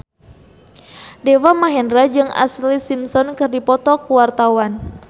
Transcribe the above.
Deva Mahendra jeung Ashlee Simpson keur dipoto ku wartawan